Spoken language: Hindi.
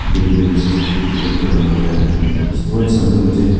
बैलून वैलून से डेकोरेट कर रखा गया है उसके बाद सामने मुझे--